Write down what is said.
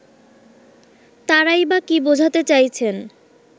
তারাই বা কি বোঝাতে চাইছেন